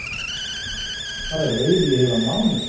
Það er veiði í heilan mánuð